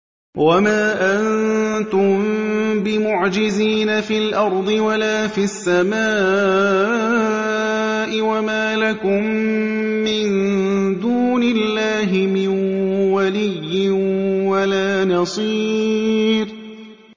وَمَا أَنتُم بِمُعْجِزِينَ فِي الْأَرْضِ وَلَا فِي السَّمَاءِ ۖ وَمَا لَكُم مِّن دُونِ اللَّهِ مِن وَلِيٍّ وَلَا نَصِيرٍ